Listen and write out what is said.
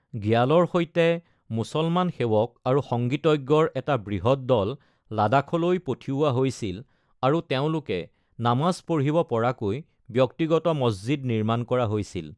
গ্যালৰ সৈতে মুছলমান সেৱক আৰু সংগীতজ্ঞৰ এটা বৃহৎ দল লাডাখলৈ পঠিওৱা হৈছিল আৰু তেওঁলোকে নামাজ পঢ়িব পৰাকৈ ব্যক্তিগত মছজিদ নিৰ্মাণ কৰা হৈছিল।